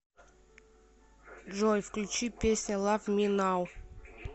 джой включи песня лав ми нау